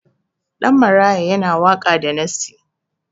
Ɗan maraya yana waka da nassi